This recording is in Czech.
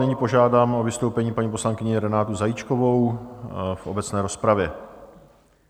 Nyní požádám o vystoupení paní poslankyni Renátu Zajíčkovou v obecné rozpravě.